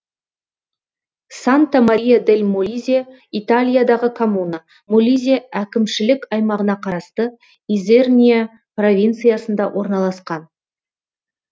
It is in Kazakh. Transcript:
санта мария дель молизе италиядағы коммуна молизе әкімшілік аймағына қарасты изерния провинциясында орналасқан